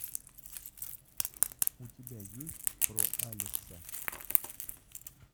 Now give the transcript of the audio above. у тебя есть про алекса